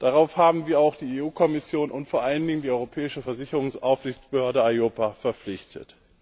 Darauf haben wir auch die Kommission und vor allen Dingen die Europäische Versicherungsaufsichtsbehörde EIOPA verpflichtet.